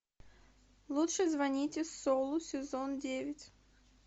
лучше звоните солу сезон девять